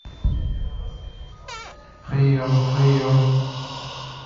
прием прием